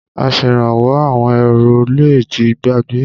Aṣèrànwọ́ àwọn èrò le ti gbàgbé.